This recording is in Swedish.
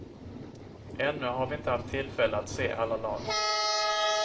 Ännu har vi inte haft tillfälle att se alla lag.